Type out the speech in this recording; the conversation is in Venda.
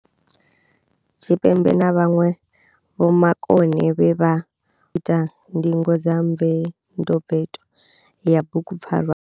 Tshipembe na vhanwe vhomakone vhe vha ita ndingo dza mvetomveto ya bugupfarwa.